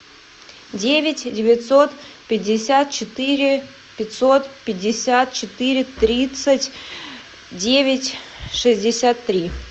девять девятьсот пятьдесят четыре пятьсот пятьдесят четыре тридцать девять шестьдесят три